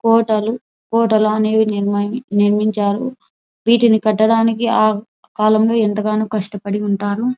కోటలు కోటలా నిర్మించారు వీటిని కట్టడానికి ఆ కాలంలో ఎంతగానోకస్టపడి ఉంటారు.